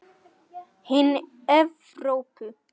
Hin Evrópu